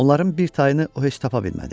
Onların bir tayını o heç tapa bilmədi.